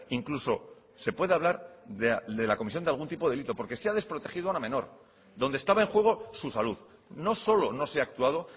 incluso se puede hablar de la comisión de algún tipo de delito porque se ha desprotegido a la menor donde estaba en juego su salud no solo no se ha actuado